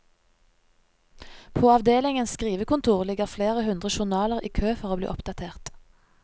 På avdelingens skrivekontor ligger flere hundre journaler i kø for å bli oppdatert.